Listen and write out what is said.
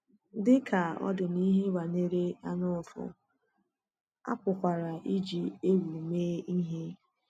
Dị ka ọ dị n’ihe banyere anyaụfụ, a pụkwara iji egwu mee ihe.